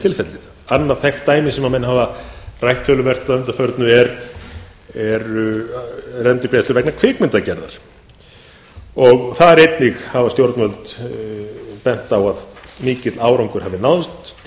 tilfellið annað þekkt dæmi sem rætt hefur verið töluvert að undanförnu er endurgreiðslur vegna kvikmyndagerðar einnig þar hafa stjórnvöld bent á að mikill árangur hafi náðst